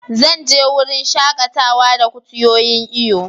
Zan je wurin shakatawa da kutuyoyin iyo.